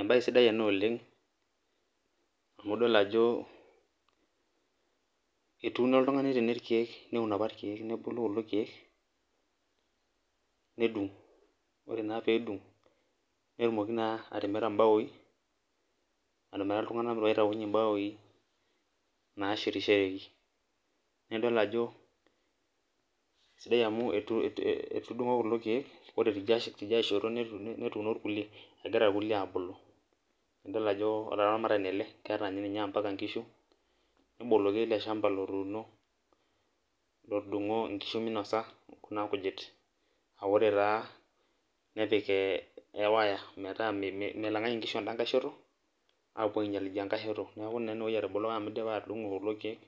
ebae sidai ina oleng amu idol ajo etuuno oltungani tene irkeek. neun apa irkeek nebulu kulo keek. nedung' ore naa pee dung'netumoki naa atimira baoi, amiraki iltunganak loitobiru mbaoi naashetishoreki. nidol ajo sidai amu etudung'o kulo keek ore teidae shoto, netuuno irkulie egira irkulie aabulu. idol ajo olaramatani ele, keeta ninye mpaka nkishu. neboloki ele shampa lotuuno. lotudung'o nkishu minosa. kuna kujit aa ore taa nedik e wire metaaa melang'aki nkishu eda shoto, apuo aing'ial idangae shoto. neeku naa ine wueji etaboloko, amu idipa atudung'o kulo keek,